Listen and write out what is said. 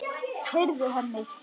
Heyrðu, Hemmi!